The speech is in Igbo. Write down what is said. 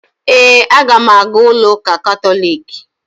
Ee, aga m aga ụlọụka katọliiki